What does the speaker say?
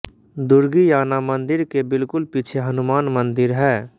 दुर्गीयाना मंदिर के बिल्कुल पीछे हनुमान मंदिर है